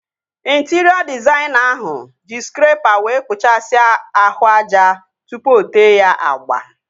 Intịrịọ dịzaịna ahụ ji skrepa wee kpuchasia ahụ aja tụpụ o tee ya agba